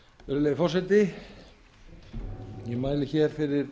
virðulegi forseti ég mæli hér fyrir